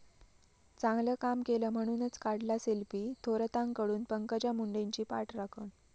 चांगलं काम केलं म्हणूनच काढला सेल्फी, थोरातांकडून पंकजा मुंडेंची पाठराखण